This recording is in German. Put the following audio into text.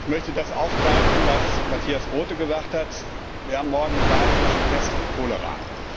Ich möchte das aufgreifen, was Matthias Groote gesagt hat Wir haben morgen die Wahl zwischen Pest und Cholera.